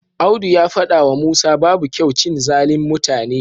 Audu ya faɗawa Musa babu kyau cin zalin mutane.